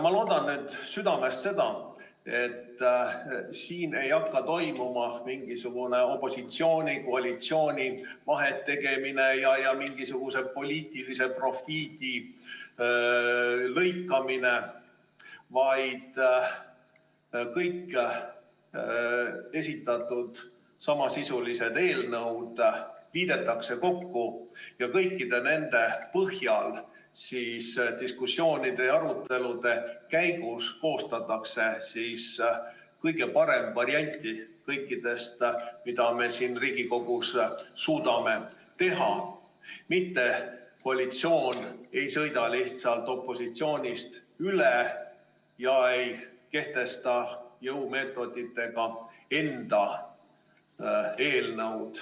Ma loodan südamest, et siin ei hakka toimuma mingisugust vahetegemist opositsioonil ja koalitsioonil ja mingisuguse poliitilise profiidi lõikamist, vaid kõik esitatud samasisulised eelnõud liidetakse kokku ja kõikide nende põhjal koostatakse diskussioonide ja arutelude käigus kõige parem variant, mida me siin Riigikogus suudame teha, mitte koalitsioon ei sõida lihtsalt opositsioonist üle, kehtestades jõumeetoditega enda eelnõu.